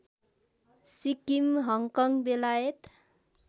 Sikkim Hong Kong बेलायत